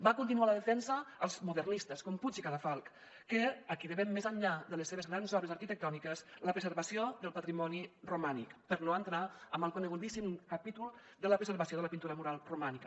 van continuar la defensa els modernistes com puig i cadafalch a qui devem més enllà de les seves grans obres arquitectòniques la preservació del patrimoni romànic per no entrar en el conegudíssim capítol de la preservació de la pintura mural romànica